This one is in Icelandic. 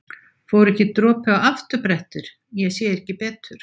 Fór ekki dropi á afturbrettið. ég sá ekki betur!